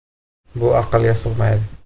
“Bu aqlga sig‘maydi.